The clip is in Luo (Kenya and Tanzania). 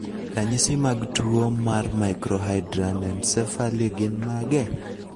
Ranyisi mag tuwo mar Microhydranencephaly gin mage?